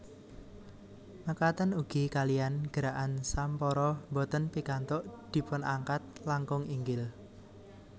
Mekaten ugi kaliyan gerakan sampara boten pikantuk dipunangkat langkung inggil